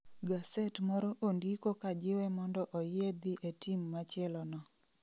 Gaset moro ondiko ka jiwe mondo oyie dhi e team machielo no